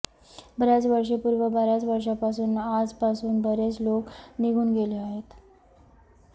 बर्याच वर्षांपूर्वी बर्याच वर्षांपासून आजपासून बरेच लोक निघून गेले आहेत